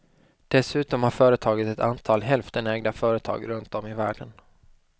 Dessutom har företaget ett antal hälftenägda företag runt om i världen.